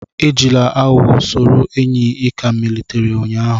Ejila aghugho soro enyi ị ka malitere ụnyaahụ